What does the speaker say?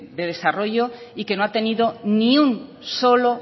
de desarrollo y que no ha tenido ni un solo